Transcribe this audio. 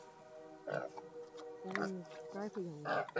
এখন প্রায়শ ঝামেলা হচ্ছে